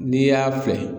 N'i y'a filɛ